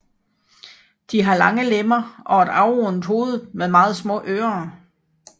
De har lange lemmer og et afrundet hoved med meget små ører